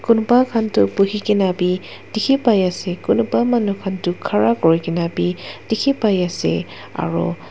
Kunebah khan tu bohe kena beh dekhe pai ase kunebah manu khan tu khara kure kena beh dekhe pai ase aro.